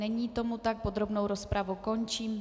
Není tomu tak, podrobnou rozpravu končím.